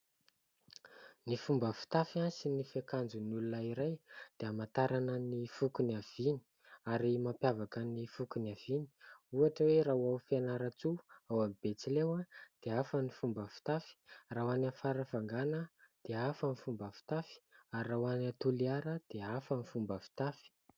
Ny fomba fitafy sy ny fiakanjon'ny olona iray dia amantarana ny foko niaviany ary mampiavaka ny foko niaviany ohatra hoe raha olona Fianaratsoa ao amin'ny betsileo dia hafa ny fomba fitafy, raha ho any Farafangana dia hafa ny fomba fitafy ary raha ho any Toliara dia hafa ny fomba fitafy.